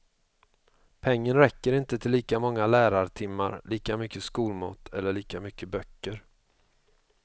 Pengen räcker inte till lika många lärartimmar, lika mycket skolmat eller lika mycket böcker.